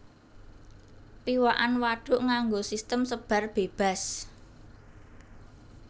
Piwakan wadhuk nganggo sistem sebar bébas